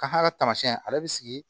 Ka taamasiyɛn ale bɛ sigi